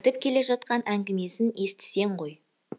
айтып келе жатқан әңгімесін естісең ғой